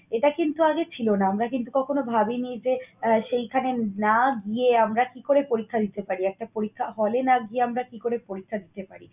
এটা কিন্তু আগে ছিল না। আমরা কিন্তু কখনো ভাবিনি যে আহ সেইখানে না গিয়ে আমরা কি করে পরীক্ষা দিতে পারি? একটা পরীক্ষা হলে না গিয়ে আমরা কি করে পরীক্ষা দিতে পারি?